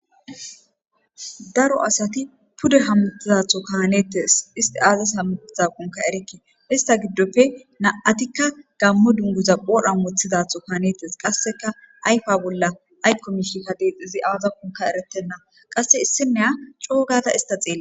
Daro asati pude hamutizatho kanetes isti aazas hamutiza qunka erekke ista giddoppe na7atikka gammo dunguza phodhan mothizatho kaanetes qasseka ayfa bolla aykko miishika deexizi aaza kunka eretenna qasse issinneya coogada ista xeele.